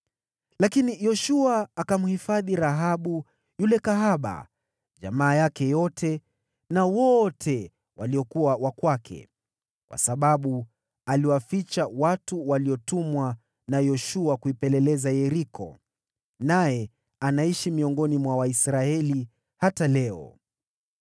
Lakini Yoshua akamhifadhi Rahabu yule kahaba, jamaa yake yote na wote waliokuwa wa kwake, kwa sababu aliwaficha watu waliotumwa na Yoshua kuipeleleza Yeriko, naye anaishi miongoni mwa Waisraeli hata leo.